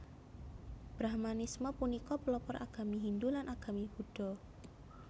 Brahmanisme punika pelopor agami Hindu lan agami Buddha